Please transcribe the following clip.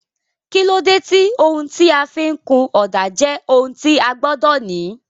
kílódé tí ohun tí a fi ń kun ọ̀dà jẹ́ ohun tí a gbọ́dọ̀ ní?